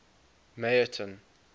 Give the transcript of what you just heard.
meyerton